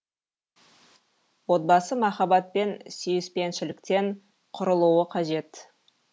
отбасы махаббат пен сүйіспеншіліктен құрылуы қажет